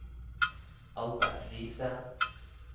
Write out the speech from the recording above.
Albert Riise